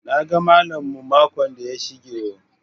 "Na ga mallam mu makon da ya shige o."